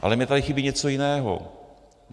Ale mně tady chybí něco jiného.